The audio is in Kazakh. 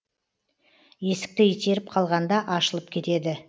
есікті итеріп қалғанда ашылып кетеді